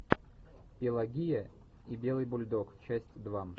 пелагея и белый бульдог часть два